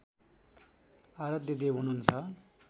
आरध्यदेव हुनुहुन्छ